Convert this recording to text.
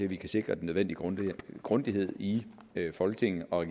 vi kan sikre den nødvendige grundighed grundighed i folketinget og i